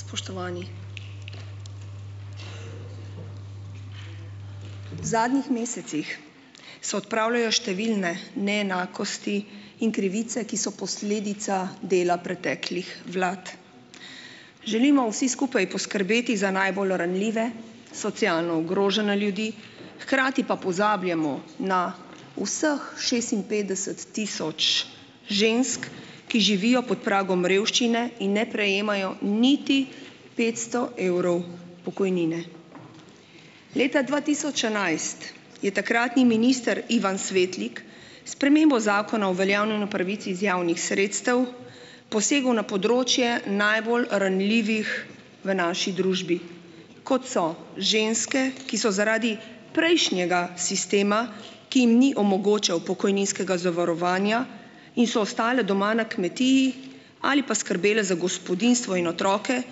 Spoštovani! V zadnjih mesecih se odpravljajo številne neenakosti in krivice, ki so posledica dela preteklih vlad. Želimo vsi skupaj poskrbeti za najbolj ranljive, socialno ogrožene ljudi, hkrati pa pozabljamo na vseh šestinpetdeset tisoč žensk, ki živijo pod pragom revščine in ne prejemajo niti petsto evrov pokojnine. Leta dva tisoč enajst je takratni minister Ivan Svetlik spremembo zakona o uveljavljanju pravic iz javnih sredstev posegel na področje najbolj ranljivih v naši družbi, kot so ženske, ki so zaradi prejšnjega sistema, ki jim ni omogočal pokojninskega zavarovanja in so ostale doma na kmetiji ali pa skrbele za gospodinjstvo in otroke,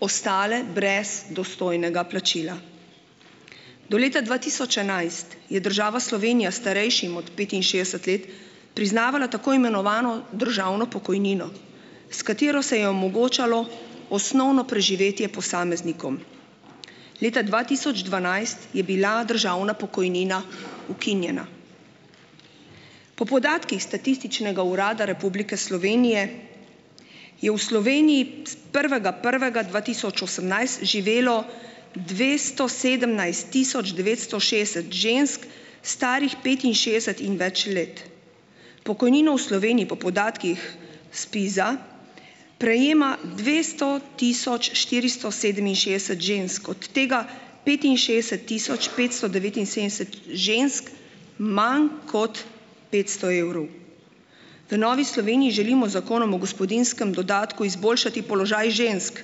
ostale brez dostojnega plačila. Do leta dva tisoč enajst je država Slovenija starejšim od petinšestdeset let priznavala tako imenovano državno pokojnino, s katero se je omogočalo osnovno preživetje posameznikom. Leta dva tisoč dvanajst je bila državna pokojnina ukinjena. Po podatkih Statističnega urada Republike Slovenije je v Sloveniji psp prvega prvega dva tisoč osemnajst živelo dvesto sedemnajst tisoč devetsto šestdeset žensk, starih petinšestdeset in več let. Pokojnino v Sloveniji po podatkih ZPIZ-a prejema dvesto tisoč štiristo sedeminšestdeset žensk, od tega petinšestdeset tisoč petsto devetinsedemdeset žensk manj kot petsto evrov. V Novi Sloveniji želimo z zakonom o gospodinjskem dodatku izboljšati položaj žensk,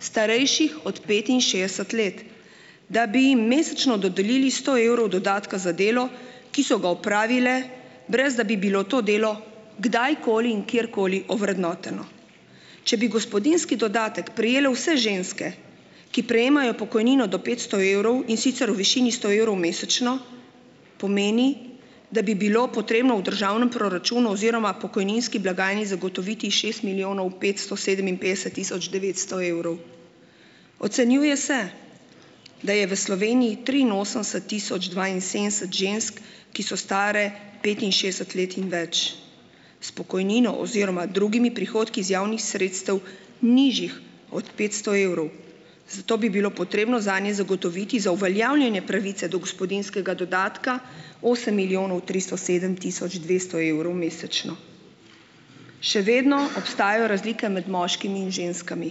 starejših od petinšestdeset let, da bi jim mesečno dodelili sto evrov dodatka za delo, ki so ga opravile, brez da bi bilo to delo kdajkoli in kjerkoli ovrednoteno. Če bi gospodinjski dodatek prejele vse ženske, ki prejemajo pokojnino do petsto evrov, in sicer v višini sto evrov mesečno, pomeni, da bi bilo potrebno v državnem proračunu oziroma pokojninski blagajni zagotoviti šest milijonov petsto sedeminpetdeset tisoč devetsto evrov. Ocenjuje se, da je v Sloveniji triinosemdeset tisoč dvainsedemdeset žensk, ki so stare petinšestdeset let in več, s pokojnino oziroma drugimi prihodki iz javnih sredstev, nižjih od petsto evrov, zato bi bilo potrebno zanje zagotoviti za uveljavljanje pravice do gospodinjskega dodatka osem milijonov tristo sedem tisoč dvesto evrov mesečno. Še vedno obstajajo razlike med moškimi in ženskami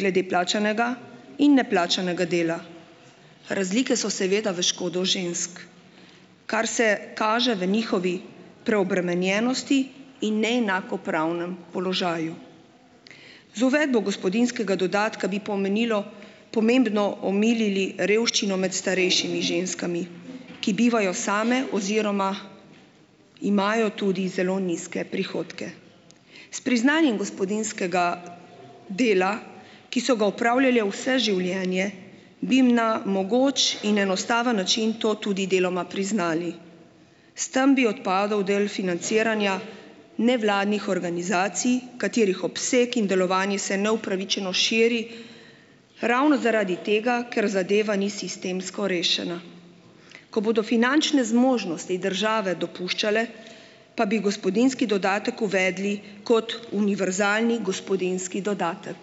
glede plačanega in neplačanega dela. Razlike so seveda v škodo žensk, kar se kaže v njihovi preobremenjenosti in neenakopravnem položaju. Z uvedbo gospodinjskega dodatka bi pomenilo pomembno omilili revščino med starejšimi ženskami, ki bivajo same oziroma imajo tudi zelo nizke prihodke. S priznanjem gospodinjskega dela, ki so ga opravljale vse življenje, bi jim na mogoč in enostaven način to tudi deloma priznali. S tem bi odpadel del financiranja nevladnih organizacij, katerih obseg in delovanje se neupravičeno širi ravno zaradi tega, ker zadeva ni sistemsko rešena. Ko bodo finančne zmožnosti države dopuščale, pa bi gospodinjski dodatek uvedli kot univerzalni gospodinjski dodatek.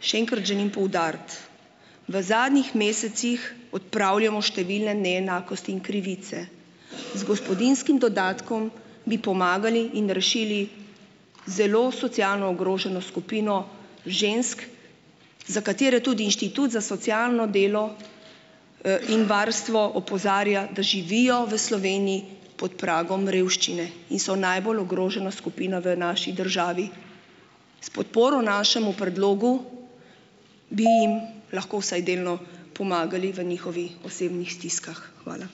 Še enkrat želim poudariti, v zadnjih mesecih odpravljamo številne neenakosti in krivice. Z gospodinjskim dodatkom bi pomagali in rešili zelo socialno ogroženo skupino žensk, za katere tudi Inštitut za socialno delo, in varstvo opozarja, da živijo v Sloveniji pod pragom revščine in so najbolj ogrožena skupina v naši državi. S podporo našemu predlogu bi jim lahko vsaj delno pomagali v njihovi osebžnih stiskah. Hvala.